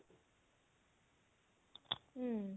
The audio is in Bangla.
হম